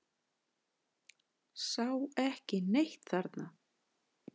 Sá ekki neitt þarna.